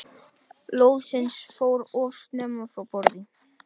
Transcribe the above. Lóðsinn fór of snemma frá borði